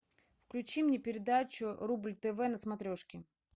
включи мне передачу рубль тв на смотрешки